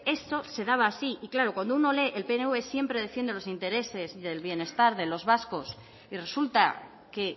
eso se daba así y claro cuando uno lee el pnv siempre defiende los intereses del bienestar de los vascos y resulta que